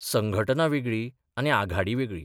संघटना वेगळी आनी आघाडी वेगळी.